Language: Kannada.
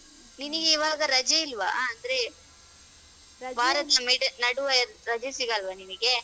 ನಿನಗೆ ಈಗ ರಜಾ ಇಲ್ವಾ ಅಂದ್ರೆ. ಮಿಡ ನಡುವೆ ರಜೆ ಸಿಗಲ್ವ ನಿನಿಗೆ?